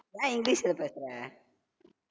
ஏன் english ல பேசறே